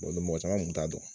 mɔgɔ caman kun t'a dɔn